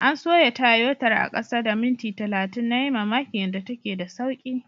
An soya Tayotar a kasa da minti talatin, na yi mamakin yanda take da sauki.